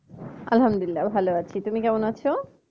আলহামদুলিল্লাহ ভালো আছি তুমি কেমন আছো?